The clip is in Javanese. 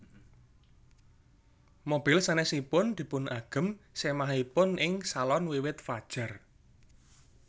Mobil sanésipun dipun agem sémahipun ing salon wiwit fajar